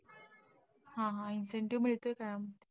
हा हा, incentive मिळतोय का?